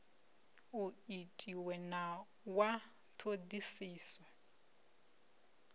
u itiwe na wa ṱhoḓisiso